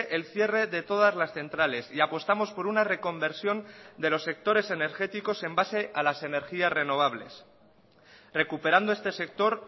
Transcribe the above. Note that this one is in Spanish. el cierre de todas las centrales y apostamos por una reconversión de los sectores energéticos en base a las energías renovables recuperando este sector